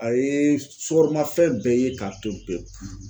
A ye sukaromafɛn bɛɛ ye k'a to ye pewu.